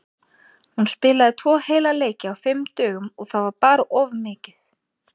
Hún spilaði tvo heila leiki á fimm dögum og það var bara of mikið.